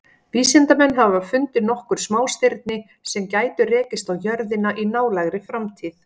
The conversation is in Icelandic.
Vísindamenn hafa fundið nokkur smástirni sem gætu rekist á jörðina í nálægri framtíð.